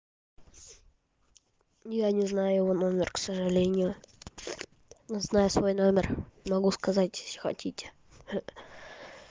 я не знаю его номер к сожалению но знаю свой номер могу сказать если хотите ха